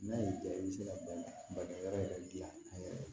N'a y'i ja i bɛ se ka bakɛ yɔrɔ yɛrɛ dilan a yɛrɛ ye